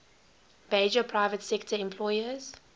major private sector employers